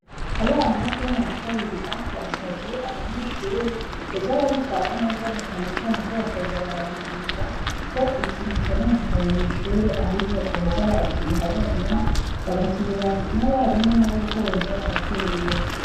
Abana bo mu wa kabiri A,bbasavye abanyeshure, kuza baritwara neza, na cane cane ko batoza bararindira, ko ikintu cononekaye mw’ishure, aribo boza barakiriha bonyene, bagatumira n’abarimu nabo ko boza baraterera.